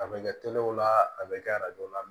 A bɛ kɛ teliw la a bɛ kɛ la